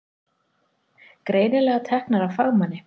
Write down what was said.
Greinilega teknar af fagmanni.